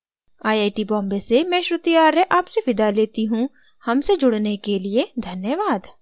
I I T Bombay से मैं श्रुति आर्य आपसे विदा लेती हूँ हमसे जुड़ने के लिए धन्यवाद